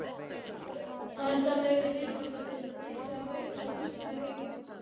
Væntanlegri viðskiptadeild þyrfti að ætla húsnæði auk þessa.